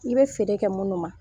I bɛ feere kɛ minnu ma